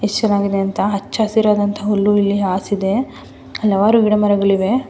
ಯೆಸ್ಟ್ ಚೆನ್ನಾಗಿದೆ ಅಂತ ಹಚ್ಚ ಹಸಿರಾದಂಥ ಹುಲ್ಲು ಇಲ್ಲಿ ಹಾಸಿದೆ ಹಲವಾರು ಗಿಡ ಮರಗಳಿವೆ.